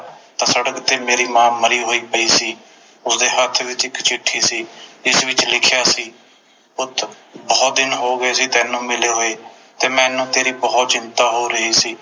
ਤਾ ਸੜਕ ਤੇ ਮੇਰੀ ਮਾਂ ਮਰੀ ਹੋਈ ਪਈ ਸੀ ਉਸਦੇ ਹੱਥ ਵਿਚ ਇਕ ਚਿੱਠੀ ਸੀ ਜਿਸ ਵਿਚ ਲਿਖਿਆ ਸੀ ਪੁੱਤ ਬੋਹੋਤ ਦਿਨ ਹੋਗੇ ਸੀ ਤੈਨੂੰ ਮਿਲੇ ਹੋਏ ਤੇ ਮੈਨੂੰ ਬੋਹੋਤ ਚਿੰਤਾ ਹੋ ਰਹੀ ਸੀ